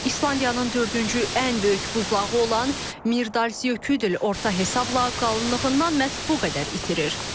İslandiyanın dördüncü ən böyük buzlağı olan Mirdalsöküdül orta hesabla qalınlığından məhz bu qədər itirir.